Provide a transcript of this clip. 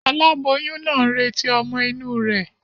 Aláboyún naa n retí ọ́mọ́ inú rè